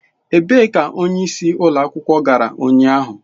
Ebee ka onyeisi ụlọ akwụkwọ gara ụnyaahụ?